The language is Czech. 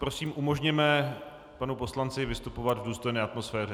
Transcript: Prosím umožněme panu poslanci vystupovat v důstojné atmosféře.